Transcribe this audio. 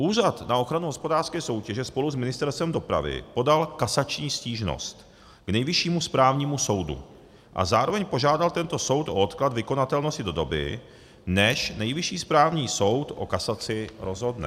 Úřad na ochranu hospodářské soutěže spolu s Ministerstvem dopravy podal kasační stížnost k Nejvyššímu správnímu soudu a zároveň požádal tento soud o odklad vykonatelnosti do doby, než Nejvyšší správní soud o kasaci rozhodne.